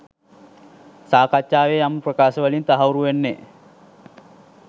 සාකච්ඡාවේ යම් ප්‍රකාශ වලින් තහවුරු වෙන්නෙ.